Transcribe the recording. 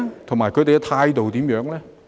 他們的態度又如何呢？